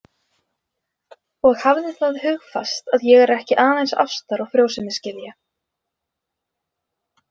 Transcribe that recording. Og hafðu það hugfast að ég er ekki aðeins ástar- og frjósemisgyðja.